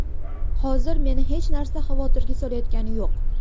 Hozir meni hech narsa xavotirga solayotgani yo‘q.